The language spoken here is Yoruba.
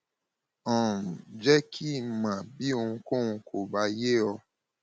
um jẹ kí n mọ bí ohunkóhun kò bá yé ọ